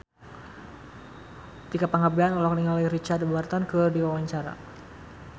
Tika Pangabean olohok ningali Richard Burton keur diwawancara